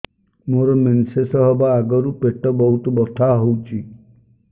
ମୋର ମେନ୍ସେସ ହବା ଆଗରୁ ପେଟ ବହୁତ ବଥା ହଉଚି